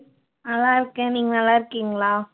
நல்லா இருக்கேன் நீங்க நல்லா இருக்கீங்களா